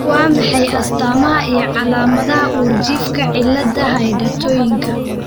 Waa maxay astaamaha iyo calaamadaha uurjiifka cillada hydantoinka?